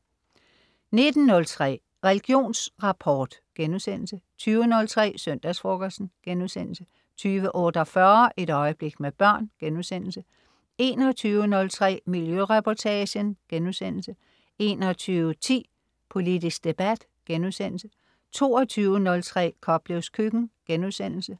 19.03 Religionsrapport* 20.03 Søndagsfrokosten* 20.48 Et øjeblik med børn* 21.03 Miljøreportagen* 21.10 Politisk debat* 22.03 Koplevs Køkken*